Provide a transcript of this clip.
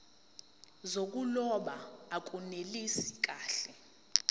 zokuloba akunelisi kahle